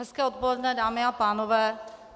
Hezké odpoledne, dámy a pánové.